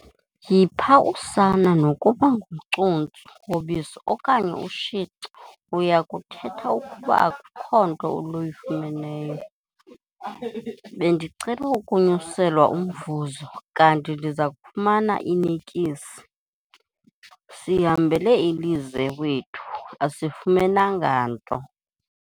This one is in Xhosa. Yipha usana nokuba ngucuntsu wobisi okanye ushici uya kuthetha ukuba akukho nto luyifumeneyo. bendicele ukunyuselwa umvuzo kanti ndiza kufumana inikisi, sihambele ilize wethu asifumenanga nto